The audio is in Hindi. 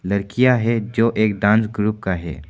लड़कियां है जो एक डांस ग्रुप का है।